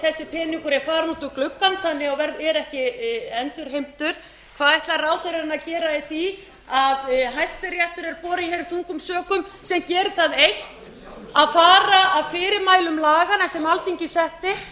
þessi peningur er farinn út um gluggann og verður ekki endurheimtur hvað ætlar ráðherrann að gera í því að hæstiréttur er borinn þungum sökum sem gerir það eitt að fara að fyrirmælum laganna sem alþingi setti og